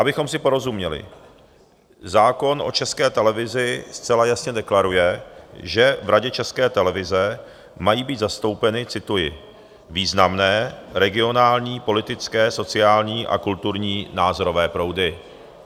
Abychom si porozuměli, zákon o České televizi zcela jasně deklaruje, že v Radě České televize mají být zastoupeny, cituji, "významné regionální, politické, sociální a kulturní, názorové proudy".